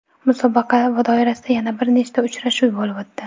Musobaqa doirasida yana bir nechta uchrashuv bo‘lib o‘tdi.